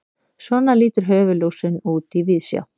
svona lítur höfuðlúsin út í víðsjá